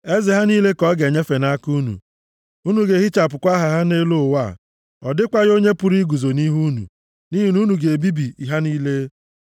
Eze ha niile ka ọ ga-enyefe nʼaka unu, unu ga-ehichapụkwa aha ha nʼelu ụwa. Ọ dịkwaghị onye pụrụ iguzo nʼihu unu, nʼihi na unu ga-ebibi ha niile.